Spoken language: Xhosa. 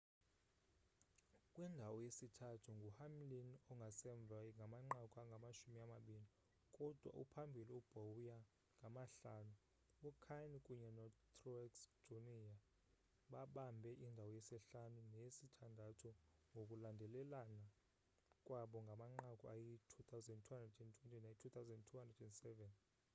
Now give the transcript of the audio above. kwindawo yesithathu nguhamlin ongasemva ngamanqaku angamashumi amabini kudwa uphambili kubowyer ngamahlanu ukahne kunye notruex jr babambe indawo yesihlanu neyesithandathu ngokulandelelana kwabo ngamanqaku ayi-2,220 nayi-2,207